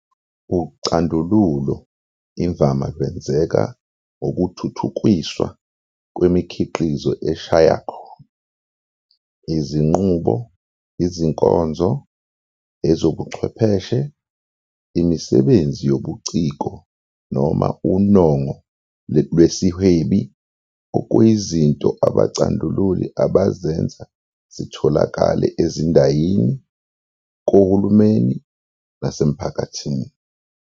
Ucandululo imvama lwenzeka ngokuthuthukiswa kwemikhiqizo eshaya khona, izinqubo, izinkonzo, ezobuchwepheshe, imisebenzi yobuciko noma unongo lwesihwebi okuyizinto abacandululi abazenza zitholakale ezindayini, kohulumeni nasemphakathini.